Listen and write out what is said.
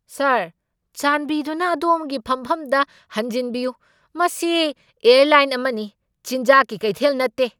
ꯁꯥꯔ, ꯆꯥꯟꯕꯤꯗꯨꯅ ꯑꯗꯣꯝꯒꯤ ꯐꯝꯐꯝꯗ ꯍꯟꯖꯤꯟꯕꯤꯌꯨ꯫ ꯃꯁꯤ ꯑꯦꯔꯂꯥꯏꯟ ꯑꯃꯅꯤ, ꯆꯤꯟꯖꯥꯛꯀꯤ ꯀꯩꯊꯦꯜ ꯅꯠꯇꯦ!